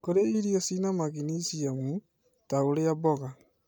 Kũrĩa irio cirĩ na maginesiamu, ta ũrĩa mboga